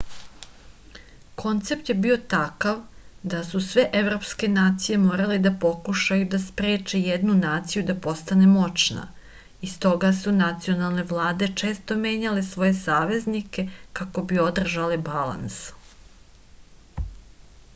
koncept je bio takav da su sve evropske nacije morale da pokušaju da spreče jednu naciju da postane moćna i stoga su nacionalne vlade često menjale svoje saveznike kako bi održale balans